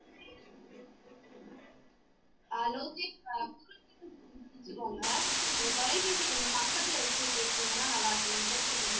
அஹ் லோகேஷ் உங்க தொலைபேசியை கொஞ்சம் பக்கத்துல வச்சு பேசுனீங்கன்னா நல்லா இருக்கும் நீங்க பேசுறது கொஞ்சம்